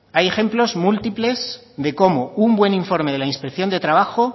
hay ejemplos múltiples de cómo un buen informe de la inspección de trabajo